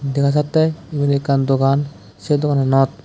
dega jattey iben ekkan dogan sey dogananot.